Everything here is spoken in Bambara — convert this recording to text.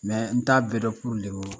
n t'a bɛɛ dɔn